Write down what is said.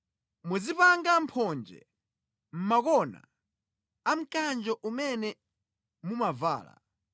Muzipanga mphonje mʼngodya za mkanjo umene mumavala.